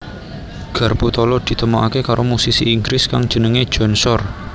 Garpu tala ditemokaké karo musisi Inggris kang jenengé John Shore